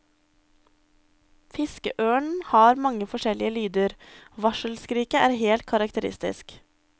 Fiskeørnen har mange forskjellige lyder, varselskriket er helt karakteristisk.